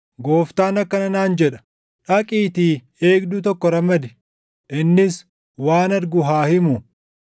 Gooftaan akkana naan jedha: “Dhaqiitii eegduu tokko ramadi; innis waan argu haa himu.